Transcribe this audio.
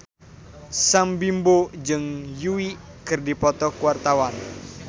Sam Bimbo jeung Yui keur dipoto ku wartawan